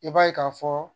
I b'a ye ka fɔ